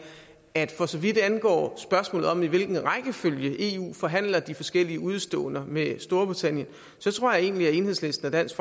at for så vidt angår spørgsmålet om i hvilken rækkefølge eu forhandler de forskellige udeståender med storbritannien så tror jeg egentlig at enhedslisten og dansk